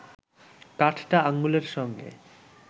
কাঠটা আঙুলের সঙ্গে